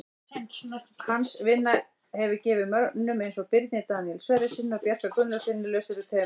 Hans vinna hefur gefið mönnum eins og Birni Daníel Sverrissyni og Bjarka Gunnlaugssyni lausari tauminn.